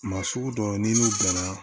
Maa sugu dɔ ye ni n'u bɛnna